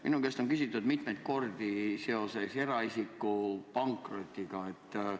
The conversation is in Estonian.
Minu käest on küsitud mitmeid kordi eraisiku pankroti kohta.